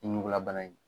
Ɲugulabana in